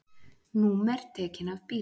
Númer tekin af bílum